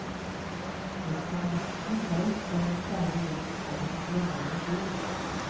En kan lett bli lei den kjære gjest om han glemmer å gå.